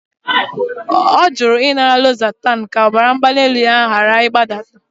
Ọ jụrụ ịnara losertan ka BP ya ghara ịdaba